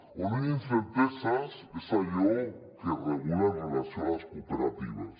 on hi ha incerteses és en allò que es regula amb relació a les cooperatives